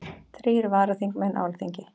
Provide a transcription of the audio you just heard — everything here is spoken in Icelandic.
Þrír varaþingmenn á Alþingi